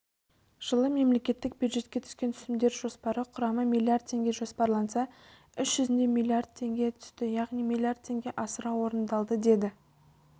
жылы мемлекеттік бюджетке түскен түсімдер жоспары құрады миллиард теңге жоспарланса іс жүзінде миллиард теңге түсті яғни миллиард теңге асыра орындалды деді